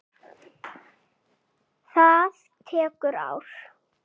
Það tekur ár.